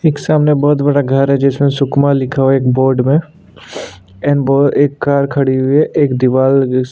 एक सामने बहुत बड़ा घर है जिसमे सुकमा लिखा हुआ है एक बोर्ड में एंड दो एक कार खड़ी हुई है एक दीवाल --